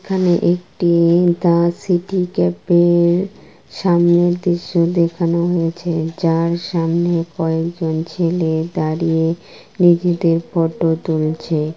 এখানে একটি-ই the City Cafe -এর সামনের দৃশ্য দেখানো হয়েছে যার সামনে কয়েকজন ছেলে দাঁড়িয়ে নিজেদের ফটো তুলছে।